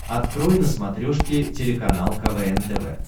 открой на смотрешке телеканал квн тв